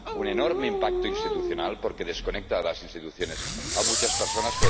un enorme impacto institucional, porque desconecta de las instituciones a muchas personas